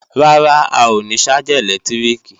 Rárá, a ò ní ṣájà ẹ̀lẹ́tíríkì